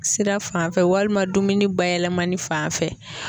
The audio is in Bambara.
Sira fan fɛ walima dumuni bayɛlɛmani fan fɛ.